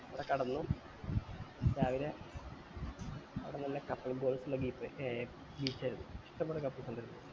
അവിടെ കെടന്നു രാവിലെ അവ്ട്ന്ന് നല്ല couple goals ഏർ beach ആ അത് ഇഷ്ടം പോലെ couples ഇണ്ടായിരുന്നു